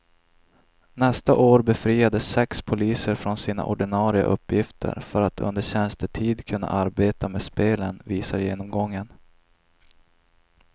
Nästa år befriades sex poliser från sina ordinarie uppgifter för att under tjänstetid kunna arbeta med spelen, visar genomgången.